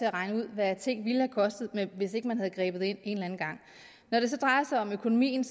og regne ud hvad ting ville have kostet hvis ikke man havde grebet ind en eller anden gang når det så drejer sig om økonomien